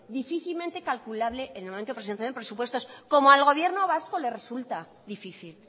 difícilmente calculable en el momento de presentación de presupuestos como al gobierno vasco le resulta difícil